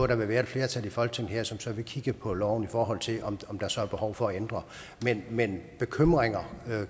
der vil være et flertal i folketinget som så vil kigge på loven for at se om der så er behov for at ændre den men bekymringer